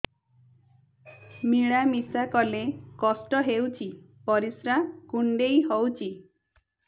ମିଳା ମିଶା କଲେ କଷ୍ଟ ହେଉଚି ପରିସ୍ରା କୁଣ୍ଡେଇ ହଉଚି